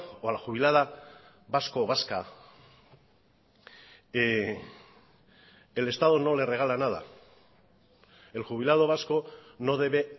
o a la jubilada vasco o vasca el estado no le regala nada el jubilado vasco no debe